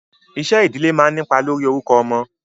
Iṣẹ́ ìdílé máa ń nípa lórí orúkọ ọmọ.